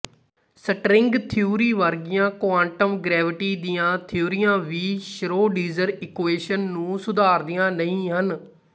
string theory ਵਰਗੀਆਂ quantum gravity ਦੀਆਂ ਥਿਊਰੀਆਂ ਵੀ ਸ਼੍ਰੋਡਿੰਜਰ ਇਕੁਏਸ਼ਨ ਨੂੰ ਸੁਧਾਰਦੀਆਂ ਨਹੀਂ ਹਨ